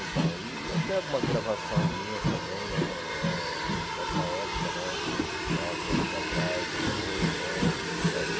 então e Eu tenho algumas gravação minhas também né eh dessa época né, nove anos atrás, depois, e por aí.